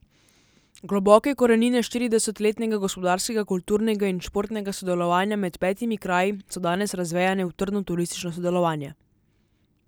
Globoke korenine štirideset letnega gospodarskega, kulturnega in športnega sodelovanja med petimi kraji so danes razvejane v trdno turistično sodelovanje.